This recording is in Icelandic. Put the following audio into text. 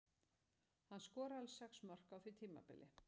Hann skoraði alls sex mörk á því tímabili.